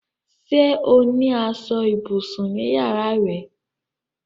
Sé o ní aṣọ ibùsùn ní yàrá rẹ?